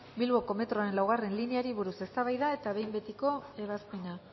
bilboko metroaren laugarrena lineari buruz eztabaida eta behin betiko ebazpena